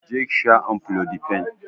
Je ki sha amlodipine!